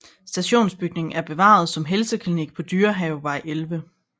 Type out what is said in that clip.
Stationsbygningen er bevaret som helseklinik på Dyrehavevej 11